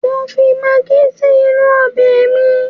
Mo ń fi magí si inú ọbẹ̀ mi